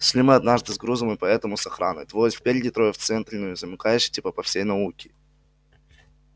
шли мы однажды с грузом и поэтому с охраной двое спереди трое в центре ну и замыкающий типа по всей науке